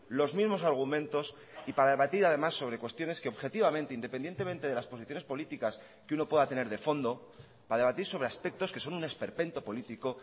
los mismos argumentos y para debatir además sobre cuestiones que objetivamente independientemente de las posiciones políticas que uno pueda tener de fondo para debatir sobre aspectos que son un esperpento político